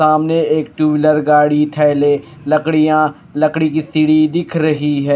सामने एक two wheeler गाड़ी थैले लड़कियां लकड़ी की सीढ़ी दिख रही है।